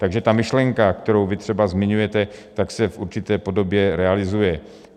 Takže ta myšlenka, kterou vy třeba zmiňujete, ta se v určité podobě realizuje.